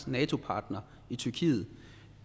nato partner tyrkiet